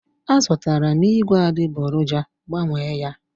Azụtara m ígwè adịgboroja, Gbanwee ya!